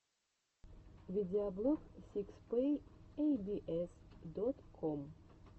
видеоблог сикс пэк эй би эс дот ком